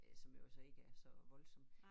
Øh som jo så ikke er så voldsomt